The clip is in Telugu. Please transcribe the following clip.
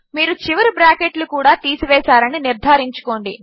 మీరు చివరి బ్రాకెట్లు కూడా తీసివేసారని నిర్ధారించుకోండి